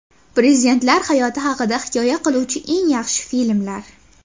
Prezidentlar hayoti haqida hikoya qiluvchi eng yaxshi filmlar.